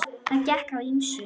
Það gekk á ýmsu.